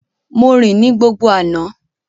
Mo rìn ní gbogbo àná